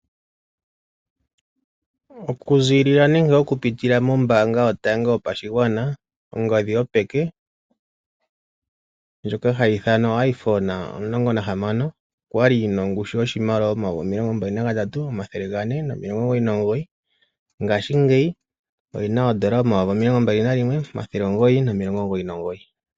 Oku zilila nenge oku pitila mombanga yotango yopashigwana ongodhi yopeke ndjoka hayi ithanwa oiPhone 16 okwali yina ongushu yoshimaliwa omayovi omilongo mbali nagatatu omathele gane nomilongo omugoyi nomugoyi ngaashi ngeyi oyina odollar omayovi omilongo mbali nayimwe omathele omugoyi nomilongo omugoyi nomugoyi.